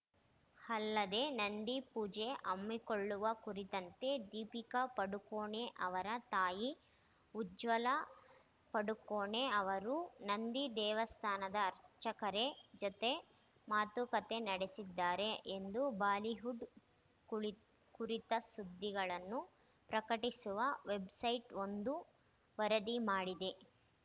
ಅಲ್ಲದೆ ನಂದಿ ಪೂಜೆ ಹಮ್ಮಿಕೊಳ್ಳುವ ಕುರಿತಂತೆ ದೀಪಿಕಾ ಪಡುಕೋಣೆ ಅವರ ತಾಯಿ ಉಜ್ವಲಾ ಪಡುಕೋಣೆ ಅವರು ನಂದಿ ದೇವಸ್ಥಾನದ ಅರ್ಚಕರೆ ಜೊತೆ ಮಾತುಕತೆ ನಡೆಸಿದ್ದಾರೆ ಎಂದು ಬಾಲಿವುಡ್‌ ಕುಳಿತ್ ಕುರಿತ ಸುದ್ದಿಗಳನ್ನು ಪ್ರಕಟಿಸುವ ವೆಬ್‌ಸೈಟ್‌ವೊಂದು ವರದಿ ಮಾಡಿದೆ